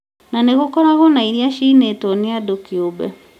na no gũkoragwo na iria ciinĩtwo nĩ andũ kiũmbe